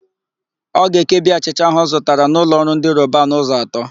Ọ ga-ekebi achịcha áhụ̀ ọ zụtara n'ụlọọrụ ndị Robanu ụzọ atọ.